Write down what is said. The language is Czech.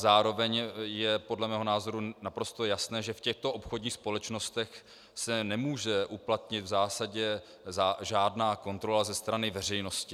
Zároveň je podle mého názoru naprosto jasné, že v těchto obchodních společnostech se nemůže uplatnit v zásadě žádná kontrola ze strany veřejnosti.